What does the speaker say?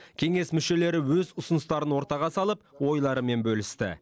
кеңес мүшелері өз ұсыныстарын ортаға салып ойларымен бөлісті